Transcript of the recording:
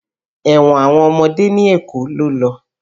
Ẹ̀wọ̀n àwọn ọmọdé ní Èkó ló lọ.